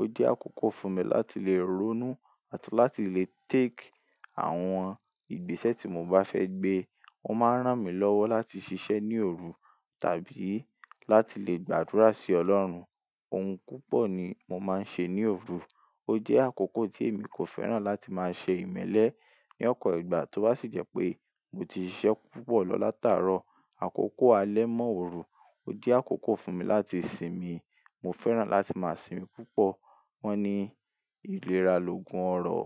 Ó jẹ́ àkókò fún mi láti lè ronú àti láti lè take àwọn ìgbésẹ̀ tí mo bá fẹ́ gbé. Ó máa ń rán mi lọ́wọ́ láti ṣiṣẹ́ ní òru tàbí láti lè gbàdúrà sí Ọlọ́run. Ohun púpọ̀ ni mo máa ń ṣe ní òru. Ó jẹ́ àkókò tí èmi kò fẹ́ràn láti máa ṣe ìmẹ́lẹ́ ní ọ̀po ìgbà tó bá sì jẹ́ pé mo ti ṣiṣẹ́ púpọ̀ lọ látàárọ̀. Àkókò alẹ́ mọ́ òru ó jẹ́ àkókò fún mi láti sinmi. Mo fẹ́ràn láti máa sinmi púpọ̀. Wọ́n ní ìlera lo gun ọrọ̀.